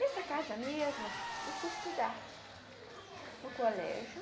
Nessa casa mesmo, eu fui estudar no colégio.